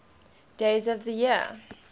days of the year